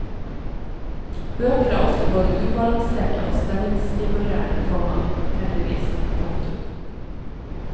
Bøker er ofte både ubalanserte og spenningsstimulerende, komma heldigvis. punktum